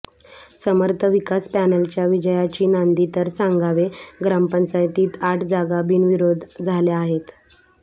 समर्थ विकास पॅनलच्या विजयाची नांदी तर सांगवे ग्रामपंचायतीत आठ जागा बिनविरोध झाल्या आहेत